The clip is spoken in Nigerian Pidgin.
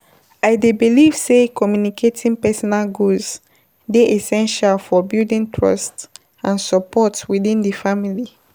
I dey believe say communicating personal goals dey essential for building trust and support within the family.